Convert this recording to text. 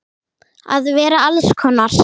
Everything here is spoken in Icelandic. Að vera alls konar.